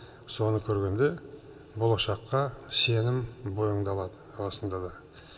соны көргенде болашаққа сенім бойыңды алады расында да